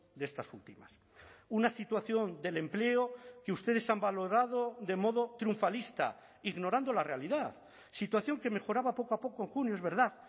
de estas últimas una situación del empleo que ustedes han valorado de modo triunfalista ignorando la realidad situación que mejoraba poco a poco en junio es verdad